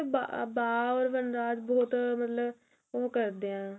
ਬਾ ਓਰ ਵਨਰਾਜ ਬਹੁਤ ਮਤਲਬ ਉਹ ਕਰਦੇ ਆ